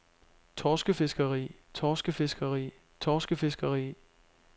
torskefiskeri torskefiskeri torskefiskeri